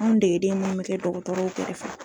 Anw degeden minnu bɛ kɛ dɔgɔtɔrɔw kɛrɛfɛ.